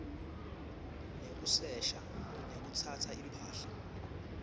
nekusesha nekutsatsa imphahla